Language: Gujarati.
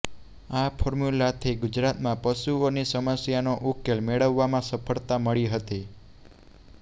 આ ફોર્મ્યૂલાથી ગુજરાતમાં પશુઓની સમસ્યાનો ઉકેલ મેળવવામાં સફળતા મળી હતી